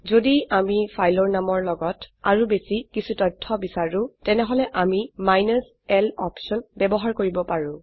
যদি আম ফাইলৰ নামৰ লগত আৰু বেশি কিছু তথ্য বিচাৰো তেনেহলে আমি মাইনাছ l অপশন ব্যবহাৰ কৰিব পাৰো